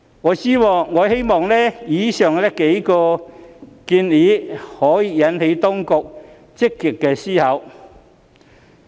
我希望以上幾個建議能引起當局積極思考。